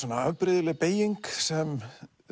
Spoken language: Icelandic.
afbrigðileg beyging sem